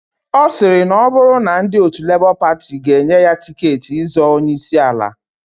Osiri na oburu na ndi otu Labour Party ga enye ya tiketi izọọ onye isi ala.